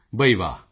ਮੋਦੀ ਜੀ ਬਈ ਵਾਹ